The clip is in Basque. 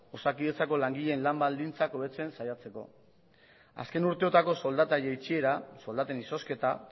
osakidetzako langileen lan baldintzak hobetzen saiatzeko azken urteotako soldata jaitsiera soldaten izozketa